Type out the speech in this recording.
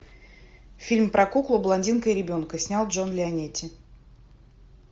фильм про куклу блондинку и ребенка снял джон леонетти